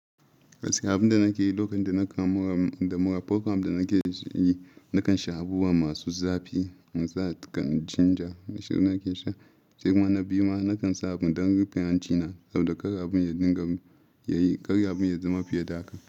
Gaskiya abun da nake yi lokacin dana kamu da mura, program da nake yi, nakan sha abubuwa masu zafi, misali kaman ginger na shayi nake sha. Sai kuma na biyu ma nakan sa abu don rufe hanci na saboda kar abin ya dinga yi, kar abin ya zama fiye da haka.